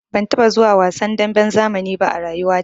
Ban taɓa zuwa wasan damben zamani ba a rayuwata.